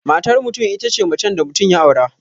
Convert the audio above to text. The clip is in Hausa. Matar mutum itace macen da mutum ya aura